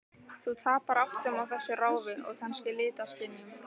Þú tapar áttum á þessu ráfi, og kannski litaskynjun.